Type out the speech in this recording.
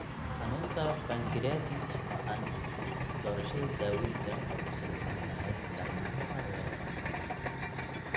Xanuunka pankreatit ba'an, doorashada daawaynta waxay ku salaysan tahay darnaanta weerarka.